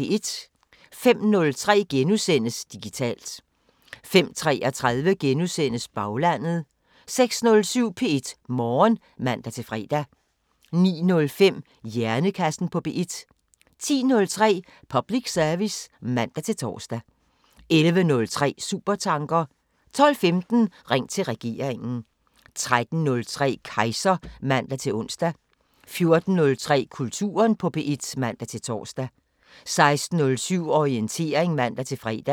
05:03: Digitalt * 05:33: Baglandet * 06:07: P1 Morgen (man-fre) 09:05: Hjernekassen på P1 10:03: Public service (man-tor) 11:03: Supertanker 12:15: Ring til regeringen 13:03: Kejser (man-ons) 14:03: Kulturen på P1 (man-tor) 16:07: Orientering (man-fre)